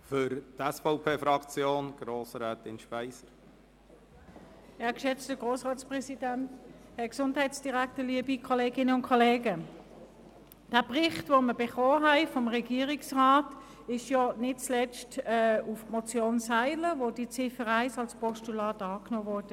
Der Bericht, den wir vom Regierungsrat erhalten haben, wurde nicht zuletzt aufgrund der Motion Seiler verfasst, wovon die Ziffer 1 als Postulat angenommen wurde.